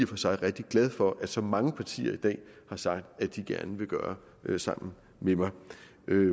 for sig rigtig glad for at så mange partier i dag har sagt at de gerne vil gøre sammen med mig